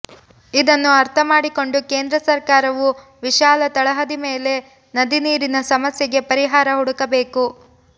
ಇದನ್ನು ಅರ್ಥಮಾಡಿಕೊಂಡು ಕೇಂದ್ರ ಸರ್ಕಾರವು ವಿಶಾಲ ತಳಹದಿ ಮೇಲೆ ನದಿ ನೀರಿನ ಸಮಸ್ಯೆಗೆ ಪರಿಹಾರ ಹುಡುಕಬೇಕು